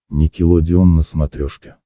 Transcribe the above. никелодеон на смотрешке